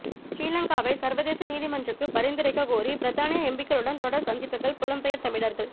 ஸ்ரீ லங்காவை சர்வதேச நீதிமன்றுக்கு பரிந்துரைக்க கோரி பிரித்தானிய எம்பிக்களுடன் தொடர் சந்திப்புக்கள் புலம்பெயர் தமிழர்கள்